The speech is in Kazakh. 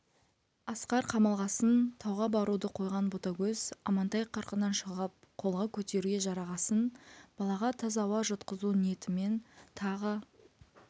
асқар қамалғасын тауға баруды қойған ботагөз амантай қырқынан шығып қолға көтеруге жарағасын балаға таза ауа жұтқызу ниетімен тағы